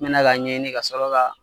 N mɛnna k'a ɲɛɲini ka sɔrɔ ka.